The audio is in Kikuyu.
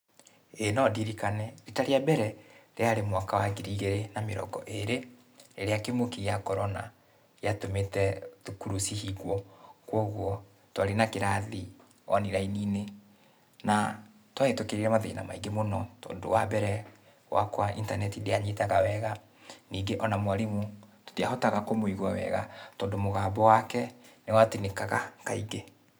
Ĩĩ nondirikane. Rita rĩa mbere rĩarĩ mwaka wa ngiri igĩrĩ na mĩrongo ĩrĩ, rĩrĩa kĩng’ũki gĩa korona, gĩatũmĩte thukuru cihingwo, kuoguo twarĩ na kĩrathi online -inĩ. Na nĩtwahĩtũkĩire mathĩna maingĩ mũno, tondũ wambere, guakwa, intaneti ndĩanyitaga wega, ningĩ ona mwarimũ, tũtiahotaga kũmũigũa wega tondũ mũgambo wake nĩwatinĩkaga kaingĩ,